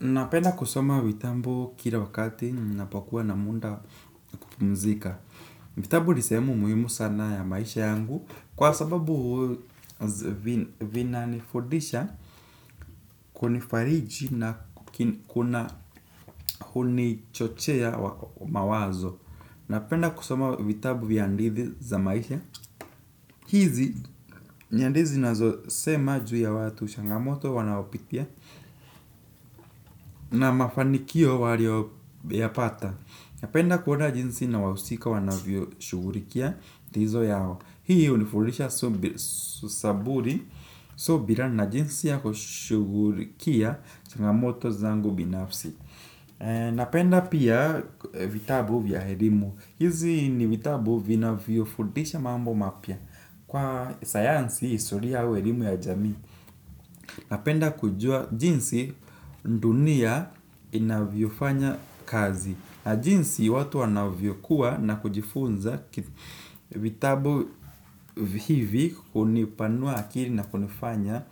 Napenda kusoma vitabu kila wakati ninapokua na muda wa kupumzika. Vitabu ni sehemu muhimu sana ya maisha yangu. Kwa sababu huu vinanifudisha kunifariji na kuna hunichochea mawazo. Napenda kusoma vitabu vya hadithi za maisha. Hizi ni hadithi zinazo sema juu ya watu changamoto wanaopitia na mafanikio walioyapata. Napenda kuona jinsi na wahusika wanavyoshugulikia, tatizo yao. Hii hunifundisha subira na jinsi ya kushughulikia, changamoto zangu binafsi. Napenda pia vitabu vya elimu. Hizi ni vitabu vinavyofudisha mambo mapya. Kwa sayansi, historia au elimu ya jamii. Napenda kujua jinsi dunia inavyofanya kazi na jinsi watu wanavyokuwa na kujifunza vitabu hivi kunipanua akili na kunifanya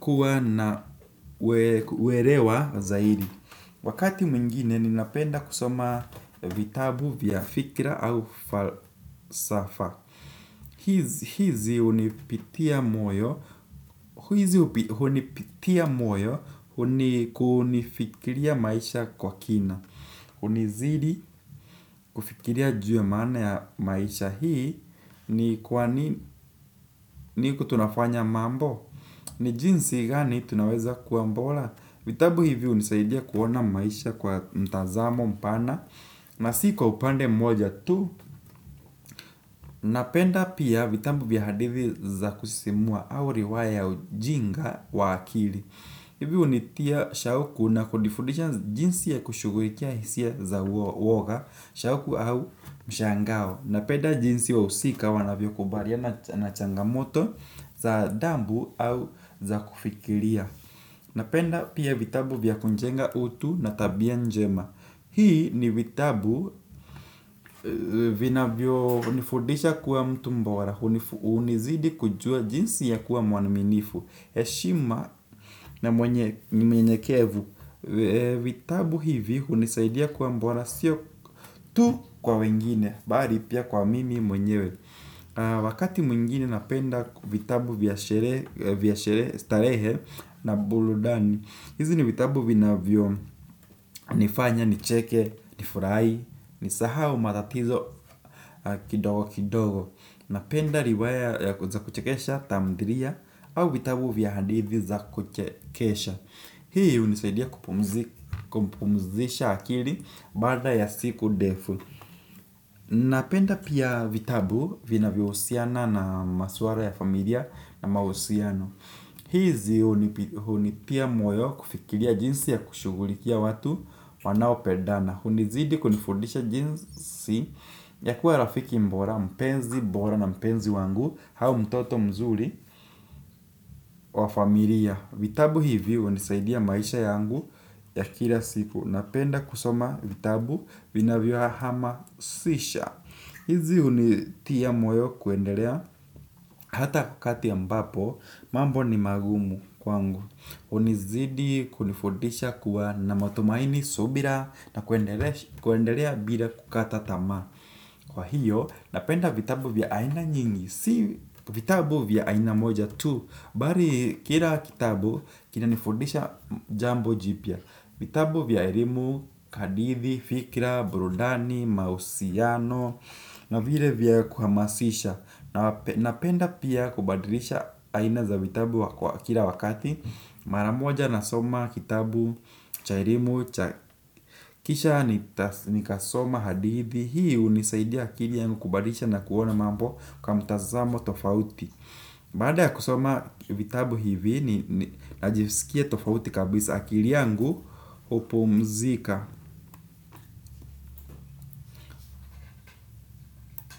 kuwa na uelewa zaidi. Wakati mwingine ninapenda kusoma vitabu vya fikira au falsafa. Hizi hunipitia moyo kufikiria maisha kwa kina hunizidi kufikiria juu ya maana ya maisha hii ni kwanini tunafanya mambo. Ni jinsi gani tunaweza kuwa bora. Vitabu hivi hunisaidia kuona maisha kwa mtazamo mpana na si kwa upande moja tu. Napenda pia vitabu vya hadithi za kusisimua au riwaya ya ujinga wa akili. Hivi hunitia shauku na kunifundisha jinsi ya kushughulikia hisia za uoga. Shauku au mshangao napenda jinsi wahusika wanavyokubaliana na changamoto za adabu au za kufikiria. Napenda pia vitabu vya kunijenga utu na tabia njema. Hii ni vitabu vinabyonifudisha kuwa mtu bora. Hunizidi kujua jinsi ya kuwa mwaminifu heshima na mnyenyekevu. Vitabu hivi hunisaidia kuwa bora sio tu kwa wengine bali pia kwa mimi mwenyewe. Wakati mwingine napenda vitabu vya sherehe vya starehe na burudani. Hizi ni vitabu vinavyo nifanya, nicheke, nifurahi. Ni sahau matatizo kidogo kidogo. Napenda riwaya za kuchekesha tamthilia au vitabu vya hadithi za kuchekesha. Hii hunisaidia kupumzisha akili. Baada ya siku ndefu. Napenda pia vitabu vinavyohusiana na masuala ya familia na mahusiano. Hizi hunitia moyo kufikiria jinsi ya kushughulikia watu wanaopendana. Hunizidi kunifundisha jinsi ya kuwa rafiki bora, mpenzi bora na mpenzi wangu au mtoto mzuri wa familia. Vitabu hivyo hunisaidia maisha yangu ya kila siku. Napenda kusoma vitabu vinavyohamasisha. Hizi hunitia moyo kuendelea hata wakati ambapo mambo ni magumu kwangu. Hunizidi kunifudisha kuwa na matumaini subira na kuendelea bila kukata tamaa. Kwa hiyo, napenda vitabu vya aina nyingi. Si vitabu vya aina moja tu bali kila kitabu, kinanifundisha jambo jipya. Vitabu vya elimu, hadithi, fikra, burudani, mahusiano na vile vya kuhamasisha. Napenda pia kubadilisha aina za vitabu kila wakati. Maramoja na soma kitabu, cha elimu, cha kisha nikasoma hadithi. Hii hunisaidia akili yangu kubadilisha na kuona mambo. Kwa mtazamo tofauti. Baada kusoma vitabu hivi. Najisikia tofauti kabisa akili yangu hupumzika.